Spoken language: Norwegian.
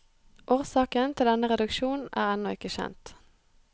Årsaken til denne reduksjon er ennå ikke kjent.